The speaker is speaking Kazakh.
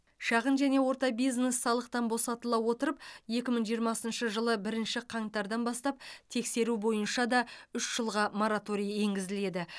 шағын және орта бизнес салықтан босатыла отырып екі мың жиырмасыншы жылы бірінші қаңтардан бастап тексеру бойынша да үш жылға мораторий енгізіледі